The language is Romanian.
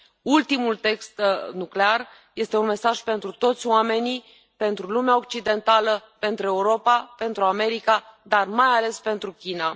Ultimul test nuclear este un mesaj pentru toți oamenii, pentru lumea occidentală, pentru Europa, pentru America, dar, mai ales, pentru China.